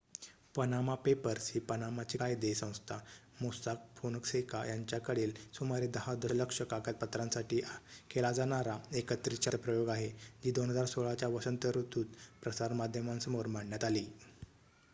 """Panama Papers" ही पनामाची कायदे संस्था मोस्साक फोनसेका यांच्याकडील सुमारे दहा दशलक्ष कागदपत्रांसाठी केला जाणारा एकत्रित शब्दप्रयोग आहे जी 2016 च्या वसंत ऋतुत प्रसार माध्यमांसमोर मांडण्यात आली.